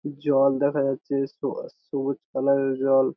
জল দেখা যাচ্ছে স সবুজ কালার এর জল।